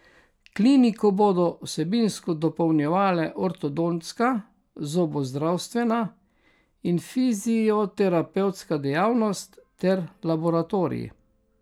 Kliniko bodo vsebinsko dopolnjevale ortodontska, zobozdravstvena in fizioterapevtska dejavnost ter laboratorij.